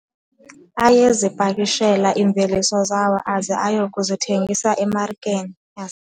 Ayezipakishela iimveliso zawo aze aye kuzithengisa emarikeni.